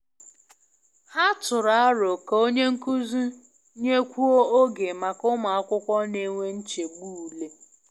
Ha tụrụ aro ka onye nkuzi nyekwuo oge maka ụmụ akwụkwọ na-enwe nchegbu ule.